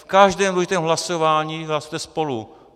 V každém důležitém hlasování hlasujete spolu.